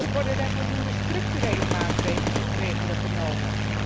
Worden er voldoende structurele maatregelen genomen?